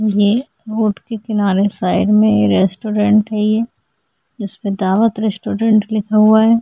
ये रोड के किनारे साइड में ये रेस्टोरेंट है ये जिसपे दावत रेस्टोरेंट लिखा हुआ है।